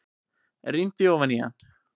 Rýndi ofan í hann.